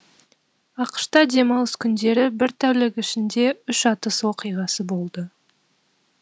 ақш та демалыс күндері бір тәулік ішінде үш атыс оқиғасы болды